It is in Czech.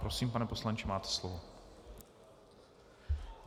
Prosím, pane poslanče, máte slovo.